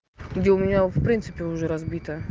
где у меня в принципе уже разбито